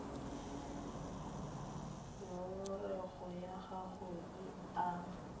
ngongorego ya gago e ama